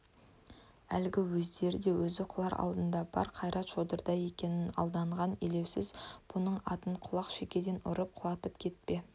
әлгі өзірде өзі құлар алдында бар қайрат шодырда екенін алдаған елеусіз бұның атын құлақ шекеден ұрып құлатып кете